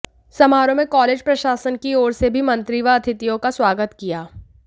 समारोह में कालेज प्रशासन कि ओर से भी मंत्री व अतिथियों का स्वागत किया